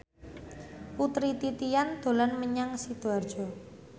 Putri Titian dolan menyang Sidoarjo